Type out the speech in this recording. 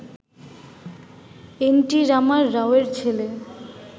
N T Rama রাওয়ের ছেলে